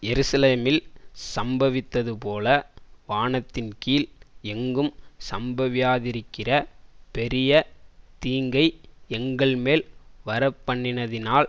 எருசலேமில் சம்பவித்ததுபோல வானத்தின்கீழ் எங்கும் சம்பவியாதிருக்கிற பெரிய தீங்கை எங்கள்மேல் வரப்பண்ணினதினால்